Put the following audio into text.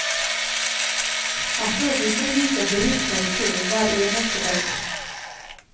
Her står hundrevis av bilister i kø hver eneste dag.